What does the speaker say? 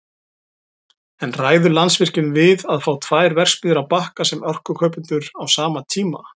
En ræður Landsvirkjun við að fá tvær verksmiðjur á Bakka sem orkukaupendur á sama tíma?